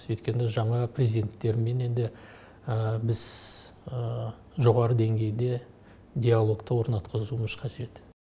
өйткені жаңа президенттерменнен де біз жоғары деңгейде диалогты орнатқызуымыз қажет